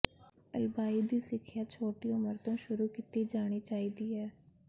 ਅਲਬਾਈ ਦੀ ਸਿੱਖਿਆ ਛੋਟੀ ਉਮਰ ਤੋਂ ਸ਼ੁਰੂ ਕੀਤੀ ਜਾਣੀ ਚਾਹੀਦੀ ਹੈ